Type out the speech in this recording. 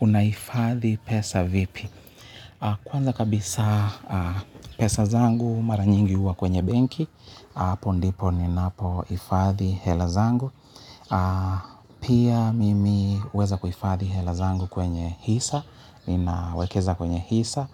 Unahifadhi pesa vipi? Kwanza kabisa pesa zangu mara nyingi huwa kwenye benki, hapo ndipo ninapohifadhi hela zangu. Pia mimi huweza kuhifadhi hela zangu kwenye hisa, ninawekeza kwenye hisa